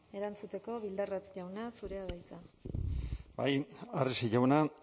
erantzuteko bildarratz jauna zurea da hitza bai arrese jauna